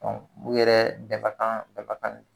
Ɔn u yɛrɛ bɛɛ ka kan daga kan